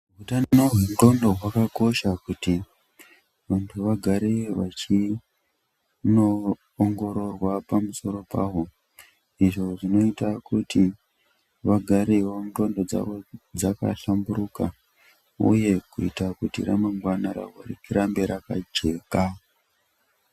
Utano hwendxondo hwakakosha kuti muntu agare vachinongororwa pamusoro pahwo. Izvo zvinoita kuti vagareqo ndxondo dzavo dzigare dzakahlamburuka uye kuita kuti ramangwana rako rirambe rakajeka.